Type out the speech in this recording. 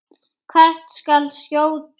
Hvert skal skjóta?